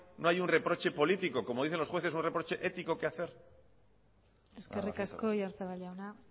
no hay un reproche político como dicen los jueces un reproche ético que hacer eskerrik asko oyarzabal jauna